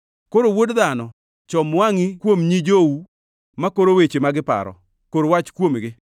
“Koro, wuod dhano, chom wangʼi kuom nyi jou makoro weche ma giparo. Kor wach kuomgi,